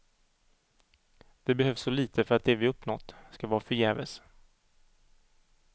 Det behövs så lite för att det vi uppnått ska vara förgäves.